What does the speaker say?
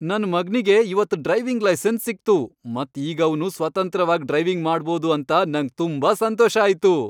ನನ್ ಮಗ್ನಿಗೆ ಇವತ್ ಡ್ರೈವಿಂಗ್ ಲೈಸೆನ್ಸ್ ಸಿಕ್ತು ಮತ್ ಈಗ ಅವ್ನು ಸ್ವತಂತ್ರವಾಗ್ ಡ್ರೈವಿಂಗ್ ಮಾಡ್ಬೋದು ಅಂತ ನಂಗ್ ತುಂಬಾ ಸಂತೋಷ ಆಯ್ತು.